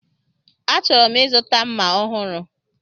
Achọrọ m ịzụta mma ọhụrụ.